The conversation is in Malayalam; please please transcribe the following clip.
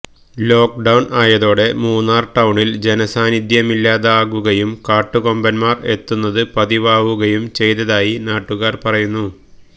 ലോക്ക് ഡൌൺ ആയതോടെ മൂന്നാർ ടൌണിൽ ജനസാന്നിധ്യമില്ലാതാകുകയും കാട്ടുകൊമ്പൻമാർ എത്തുന്നത് പതിവാകുകയും ചെയ്തതായി നാട്ടുകാര് പറയുന്നു